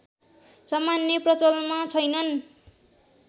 सामान्य प्रचलनमा छैनन्